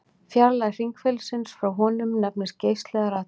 Fjarlægð hringferilsins frá honum nefnist geisli eða radíus.